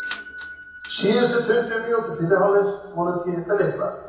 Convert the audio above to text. Síðustu tuttugu mínútur fyrri hálfleiks voru tíðindalitlar.